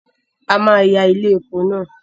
A máa ya ilé epo náà